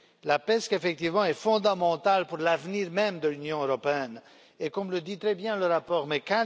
La PESC, effectivement, est fondamentale pour l'avenir même de l'Union européenne et, comme le dit très bien le rapport de M.